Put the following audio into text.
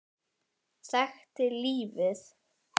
Þekkti lífið.